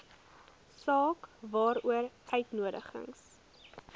saak waaroor uitnodigings